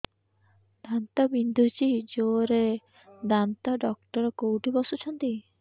ଦାନ୍ତ ବିନ୍ଧୁଛି ଜୋରରେ ଦାନ୍ତ ଡକ୍ଟର କୋଉଠି ବସୁଛନ୍ତି